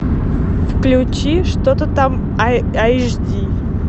включи что то там эйч ди